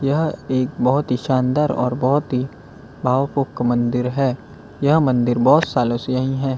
यह एक बहोत ही शानदार और बहोत ही भावको क एक मंदिर है यह मंदिर बहोत सालों से यहीं है।